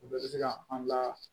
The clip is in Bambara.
U bɛɛ bɛ se ka an ka